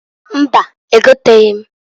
Mbaǃ Egotaghi m.